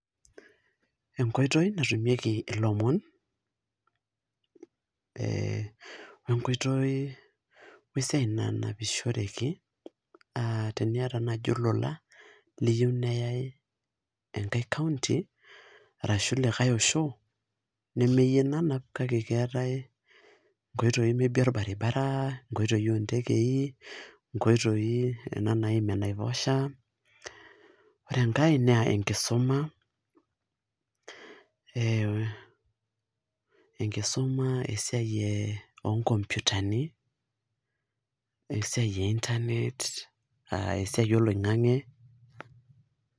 Enkoitoi natumieki ilomon ee o esiai nanpishoreki aa teniata naai olola liyieu neyai enkai county ashu likai osho nemeyie nanp kake keetai nkoitoi maybe orbaribara, nkoitoi ontekei, nkoitoi kuna naimi enaiposha. Ore enkae naa enkisuma enkisuma esiai ee onkompyutani o esiai e internet aa esiai oloing'ang'e.